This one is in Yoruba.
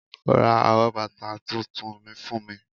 Ra àwọn bàtà tuntun mìí fún mi.